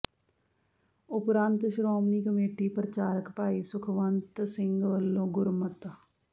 ਉਪਰੰਤ ਸ਼੍ਰੋਮਣੀ ਕਮੇਟੀ ਪ੍ਰਚਾਰਕ ਭਾਈ ਸੁਖਵੰਤ ਸਿੰਘ ਵਲੋਂ ਗੁਰਮਤਿ